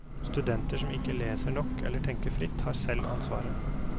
Studenter som ikke leser nok eller tenker fritt, har selv ansvaret.